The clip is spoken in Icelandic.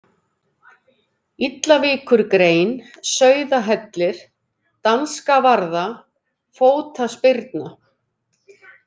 Illavíkurgrein, Sauðahellir, Danskavarða, Fótaspyrna